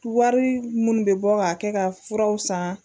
Wari minnu bɛ bɔ ka kɛ ka furaw san